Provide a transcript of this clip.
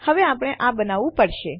હવે આપણે આ બનાવવું પડશે